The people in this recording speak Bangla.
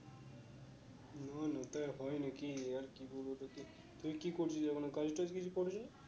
হয়ে না কি আর কি বলবো তোকে? তুই কি করছিস এখনো? কাজ টাজ কিছু করলি না?